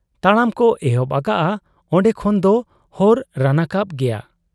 ᱛᱟᱲᱟᱢ ᱠᱚ ᱮᱦᱚᱵ ᱟᱠᱟᱜ ᱟ ᱾ ᱚᱱᱰᱮ ᱠᱷᱚᱱ ᱫᱚ ᱦᱚᱨ ᱨᱟᱱᱟᱠᱟᱵ ᱜᱮᱭᱟ ᱾